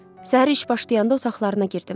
Səhər iş başlayanda otaqlarına girdim.